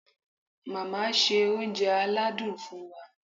Màmá ṣe oúnjẹ aládùn fún wa.